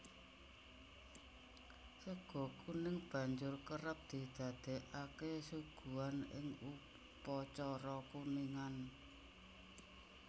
Sega kuning banjur kerep didadèkaké suguhan ing upacara kuningan